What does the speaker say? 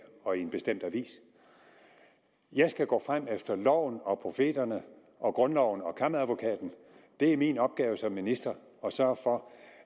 og i en bestemt avis jeg skal gå frem efter loven og profeterne og grundloven og kammeradvokaten det er min opgave som minister at sørge for